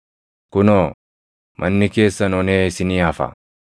Kunoo, manni keessan onee isinii hafa.